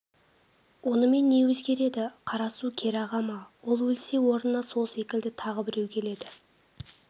онымен не өзгереді қара су кері аға ма ол өлсе орнына сол секілді тағы біреу келеді